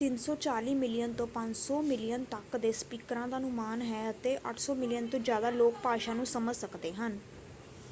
340 million ਤੋਂ 500 million ਤੱਕ ਦੇ ਸਪੀਕਰਾਂ ਦਾ ਅਨੁਮਾਨ ਹੈ ਅਤੇ 800 ਮਿਲੀਅਨ ਤੋਂ ਜ਼ਿਆਦਾ ਲੋਕ ਭਾਸ਼ਾ ਨੂੰ ਸਮਝ ਸਕਦੇ ਹਨ।